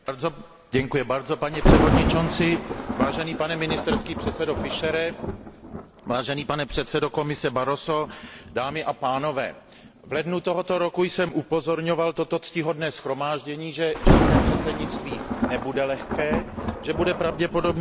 Vážený pane premiére Fischere, vážený pane předsedo Komise Barroso, dámy a pánové, v lednu tohoto roku jsem upozorňoval toto ctihodné shromáždění, že české předsednictví nebude lehké, že bude pravděpodobně poznamenáno velkou nestabilitou.